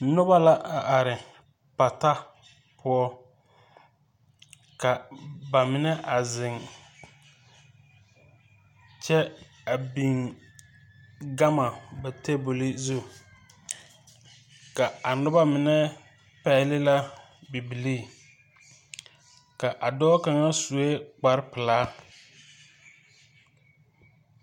Nuba la a arẽ pata pou ka ba mene a zeng kye a bing gama ba tabol zu ka a nuba mene pɛgle la bibilii ka a doɔ kanga suɛ kpare pelaa.